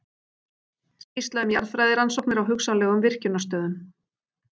Skýrsla um jarðfræðirannsóknir á hugsanlegum virkjunarstöðum.